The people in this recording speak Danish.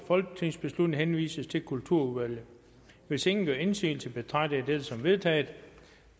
folketingsbeslutning henvises til kulturudvalget hvis ingen gør indsigelse betragter jeg dette som vedtaget